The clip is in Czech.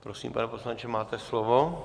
Prosím, pane poslanče, máte slovo.